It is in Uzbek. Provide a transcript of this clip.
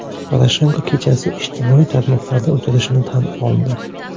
Poroshenko kechasi ijtimoiy tarmoqlarda o‘tirishini tan oldi.